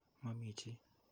Mamii chi.